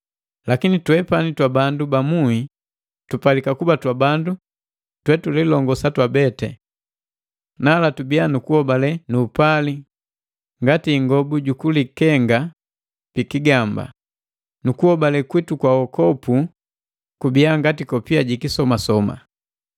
Lakini twepani twabandu ba muhi tupalika kuba twabandu twetulilongosa twabeti. Nala tubia nukuhobale nu upali ngati ingobu jukulikenga pikigamba, nukuhobale kwitu kwa wokopu kubia ngati kopia jikisomasoma.